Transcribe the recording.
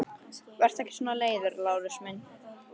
Vertu ekki svona leiður, Lárus minn!